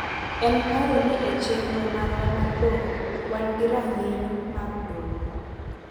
en paro ni e chenro marwa mar doho, wan gi rang’iny mag doho,